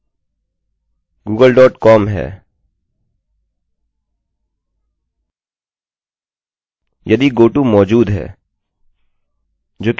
यदि goto मौजूद है जो कि इस समय है हम page url google dot com को अनुप्रेषित करने जा रहे हैं